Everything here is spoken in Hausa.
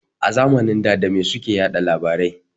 A zamanin da dame suke yaɗa labarai.